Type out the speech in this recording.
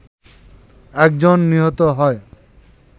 একজন নিহত হয়